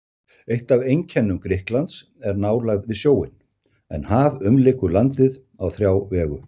Eitt af einkennum Grikklands er nálægð við sjóinn, en haf umlykur landið á þrjá vegu.